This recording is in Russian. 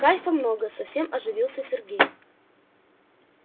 кайфа много совсем оживился сергей